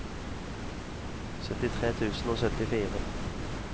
syttitre tusen og syttifire